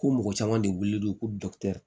Ko mɔgɔ caman de wili don ko